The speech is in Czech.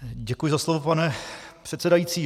Děkuji za slovo, pane předsedající.